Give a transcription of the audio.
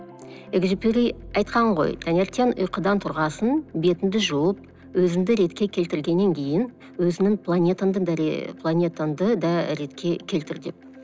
экзюпери айтқан ғой таңертең ұйқыдан тұрған соң бетіңді жуып өзіңді ретке келтіргеннен кейін өзіңнің планетаңды да ретке келтір деп